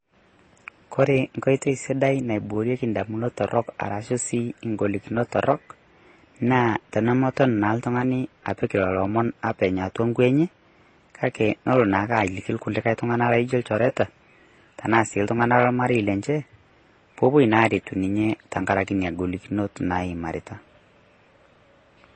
Kore nkotoi sidai naiboorie damunot torrok arashu sii ing'olikinot torrok naa tenemoton naa ltung'ani apiik lolo omoon apeny' atua nkwee enye .Kaki noloo naake aliki lkulikai ltung'ana nijoo lchoretaa tana sii ltung'ana lo mareyie lenchee poo opoo naa aretu ninye tang'araki nia ing'olikinot naimaritaa.